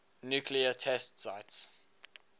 nuclear test sites